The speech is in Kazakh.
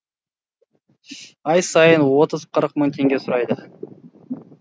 ай сайын отыз қырық мың теңге сұрайды